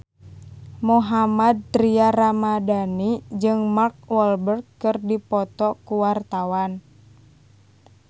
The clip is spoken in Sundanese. Mohammad Tria Ramadhani jeung Mark Walberg keur dipoto ku wartawan